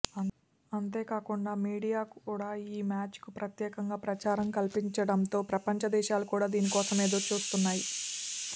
అంతేకాకుండా మీడియా కూడా ఈ మ్యాచ్ కు ప్రత్యేకంగా ప్రచారం కల్పించడంతో ప్రపంచ దేశాలు కూడా దీనికోసం ఎదురుచూస్తున్నాయి